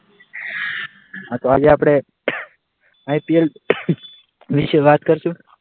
હા તો આજે આપણે ઉહ IPL ઉહ વિશે વાત કરશું.